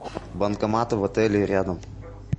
банкоматы в отеле и рядом